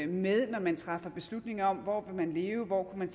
med når man træffer beslutning om hvor man vil leve hvor man